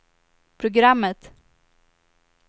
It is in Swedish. programmet